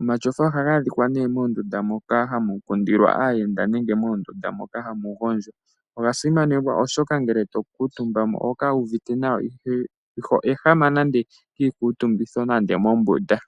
Omatyofa ohaga adhika nee moondunda moka hamu kundilwa aayenda nenge moondunda moka hamu gondjwa. Oga simanekwa oshoka ngele to kuutumba ko oho kala wu uvite nawa, iho ehama nande kiikuutumbitho nande mombunda.